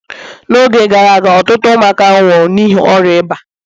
n'oge gara aga ọtụtụ ụmụaka nwụrụ n'ihi ọrịa eba